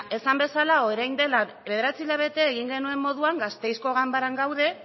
esan bezala orain dela bederatzi hilabete egin genuen moduan gasteizko ganbaran gaude